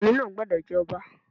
Ọmọkùnrin náà gbúdọ̀ jẹ́ Ọba.